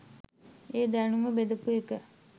ඒ දැනුම බෙදපු එක